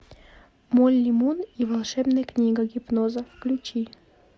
молли мун и волшебная книга гипноза включи